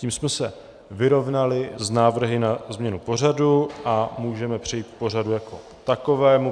Tím jsme se vyrovnali s návrhy na změnu pořadu a můžeme přejít k pořadu jako takovému.